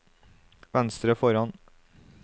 venstre foran